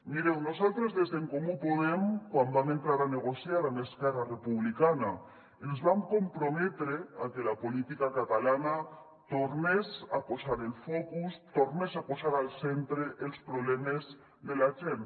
mireu nosaltres des d’en comú podem quan vam entrar a negociar amb esquerra republicana ens vam comprometre a que la política catalana tornés a posar el focus tornés a posar al centre els problemes de la gent